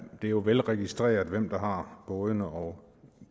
jo velregistreret hvem der har bådene og